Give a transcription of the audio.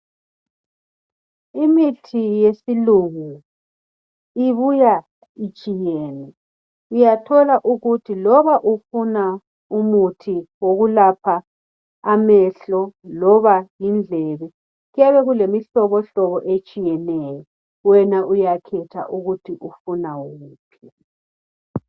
Imithi yesilungu ibuya itshiyene uyathola ukuthi loba ufuna umuthi wokulapha amehlo loba indlebe kuyabe kulemihlobohlobo etshiyeneyo wena uyakhetha ukuthi ufuna wuphi.